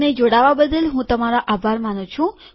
અમને જોડાવાબદ્દલ હું તમારો આભાર માનું છું